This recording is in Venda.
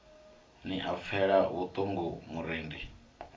ni a pfela vhuṱungu murendi